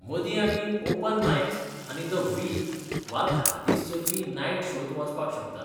मदीं आमी open mics आनी द वीक वा धा दीस चलपी नायट शोंत वचपाक शकतात.